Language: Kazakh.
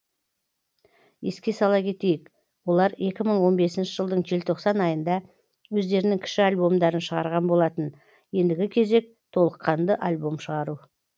еске сала кетейік олар екі мың он бесінші жылдың желтоқсан айында өздерінің кіші альбомдарын шығарған болатын ендігі кезек толыққанды альбом шығару